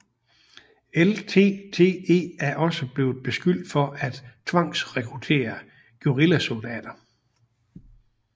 LTTE er også blevet beskyldt for at have tvangsrekrutteret guerillasoldater